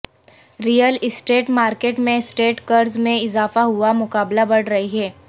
Real estate market میں estate قرض میں اضافہ ہوا مقابلہ بڑھ رہی ہے